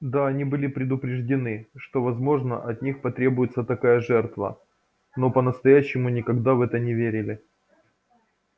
да они были предупреждены что возможно от них потребуется такая жертва но по-настоящему никогда в это не верили